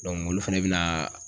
olu fɛnɛ bɛna